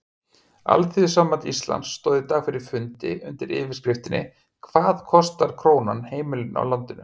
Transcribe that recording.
Alþýðusamband Íslands stóð í dag fyrir fundi undir yfirskriftinni Hvað kostar krónan heimilin í landinu?